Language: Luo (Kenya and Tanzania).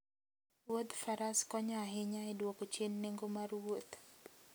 Wuodh Faras konyo ahinya e dwoko chien nengo mar wuoth.